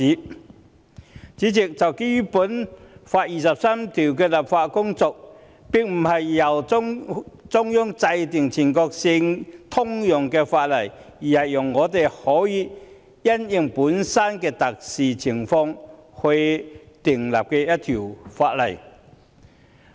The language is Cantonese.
代理主席，就第二十三條立法的工作，並非由中央制定全國性通用法例，而是讓我們因應本身的特殊情況訂立一條法例。